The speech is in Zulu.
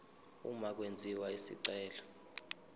uma kwenziwa isicelo